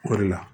O de la